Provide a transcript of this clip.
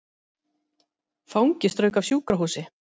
Fangi strauk af sjúkrahúsi